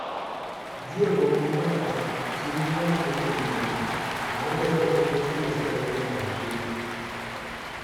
Jiya gomman matasa sun yi mana aikin gayya, tare da rufe kwatocin da suka rage a buɗe.